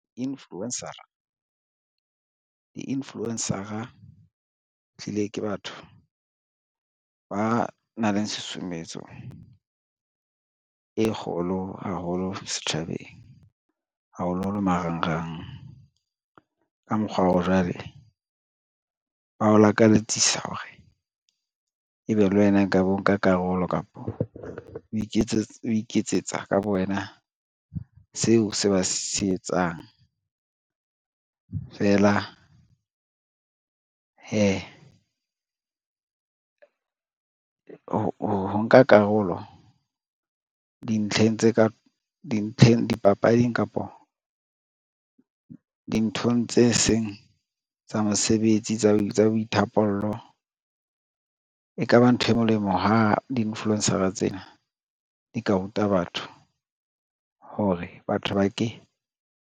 Di-influencer-a tlile ke batho ba nang le susumetso e kgolo haholo setjhabeng, haholoholo marangrang. Ka mokgwa oo, jwale ba o lakaletsisa hore ebe le wena nka bo o nka karolo kapo o iketsetsa ka bo wena seo se ba se etsang, feela hee ho nka karolo dipapading kapo dinthong tse seng tsa mosebetsi tsa boithapollo. E ka ba ntho e molemo ha di-influencer tsena di ka ruta batho hore batho ba ke.